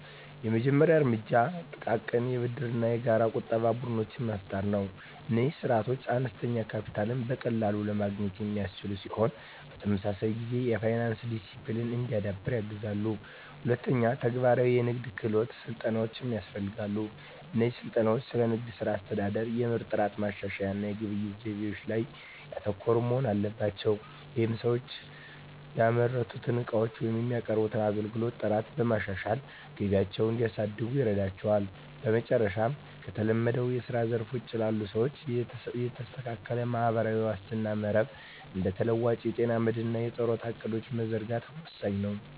የመጀመሪያው እርምጃ ጥቃቅን የብድርና የጋራ ቁጠባ ቡድኖችን መፍጠር ነው። እነዚህ ስርዓቶች አነስተኛ ካፒታልን በቀላሉ ለማግኘት የሚያስችሉ ሲሆን፣ በተመሳሳይ ጊዜ የፋይናንስ ዲሲፕሊን እንዲዳብር ያግዛሉ። ሁለተኛ፣ ተግባራዊ የንግድ ክህሎት ስልጠናዎች ያስፈልጋሉ። እነዚህ ስልጠናዎች ስለ ንግድ ሥራ አስተዳደር፣ የምርት ጥራት ማሻሻያ እና የግብይት ዘይቤዎች ላይ ያተኮሩ መሆን አለባቸው። ይህም ሰዎች የሚያመርቱትን ዕቃዎች ወይም የሚያቀርቡትን አገልግሎት ጥራት በማሻሻል ገቢያቸውን እንዲያሳድጉ ይረዳቸዋል። በመጨረሻም፣ ከተለመደው የስራ ዘርፍ ውጪ ላሉ ሰዎች የተስተካከለ ማህበራዊ ዋስትና መረብ (እንደ ተለዋዋጭ የጤና መድህን እና የጡረታ ዕቅዶች) መዘርጋት ወሳኝ ነው።